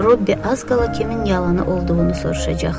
Robbi az qala kimin yalanı olduğunu soruşacaqdı.